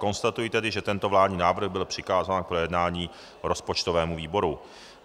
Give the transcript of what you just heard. Konstatuji tedy, že tento vládní návrh byl přikázán k projednání rozpočtovému výboru.